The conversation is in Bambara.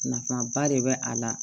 Nafaba de bɛ a la